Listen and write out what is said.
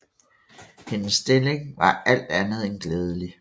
Hendes stilling var alt andet end glædelig